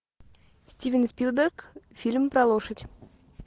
стивен спилберг фильм про лошадь